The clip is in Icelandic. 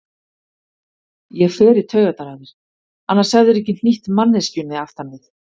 Ég fer í taugarnar á þér, annars hefðirðu ekki hnýtt manneskjunni aftan við.